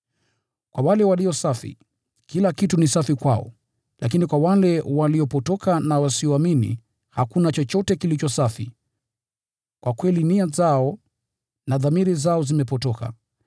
Kwa wale walio safi, kila kitu ni safi kwao. Lakini kwa wale waliopotoka na wasioamini, hakuna chochote kilicho safi. Kwa kweli nia zao na dhamiri zao zimepotoka.